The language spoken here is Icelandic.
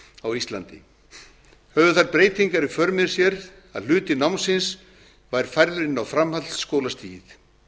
á íslandi höfðu þær breytingar í för með sér að hluti námsins var færður inn á framhaldsskólastigið